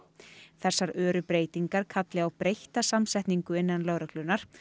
þessar öru breytingar kalli á breytta samsetningu innan lögreglunnar